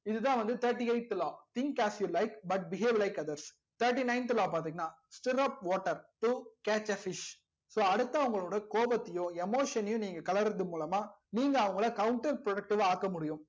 இதுதா வந்து thirty eighth law think as you like but behave like others thirty ninth law பாத்திங்கனா stirap water to catch a fish so அடுத்தவங்களோட கோபத்தையும் emotion னையும் நீங்க கேளர்து மூலமா நீங்க அவங்கல counter protective வா ஆக்க முடியும்